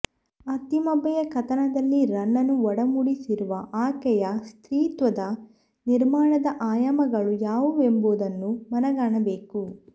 ಅತ್ತಿಮಬ್ಬೆಯ ಕಥನದಲ್ಲಿ ರನ್ನನು ಒಡಮೂಡಿಸಿರುವ ಆಕೆಯ ಸ್ತ್ರೀತ್ವದ ನಿರ್ಮಾಣದ ಆಯಾಮಗಳು ಯಾವುವೆಂಬುದನ್ನು ಮನಗಾಣಬೇಕು